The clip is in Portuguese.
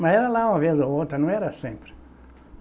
Mas era lá uma vez ou outra, não era sempre.